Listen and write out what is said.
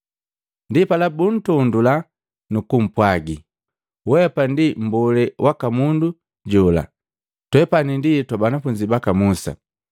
Ndipala buntondula nukupwagi, “Weapa ndi mbolee waka mundu jola, twepani ndi twa banafunzi baka Musa.